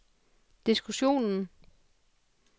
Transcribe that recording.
diskussionen